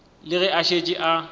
le ge a šetše a